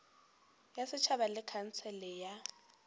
ya setšhaba le khansele ya